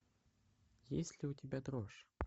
есть ли у тебя дрожь